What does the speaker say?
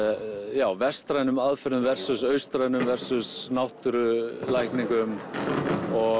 já vestrænum aðferðum austrænum náttúrulækningum og